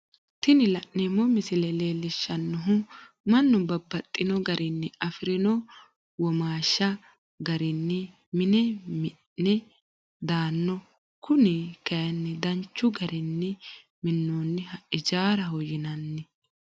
Tini la'neemo misile leellishanohu mannu babaxxino garinni afirino womaashi garinni mine mi'na dandanno kuni kayinni danchu garini minonniha ijjaaraho yinanni